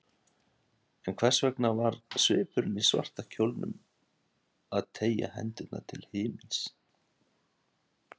En hvers vegna var svipurinn í svarta kjólnum að teygja hendurnar til himins?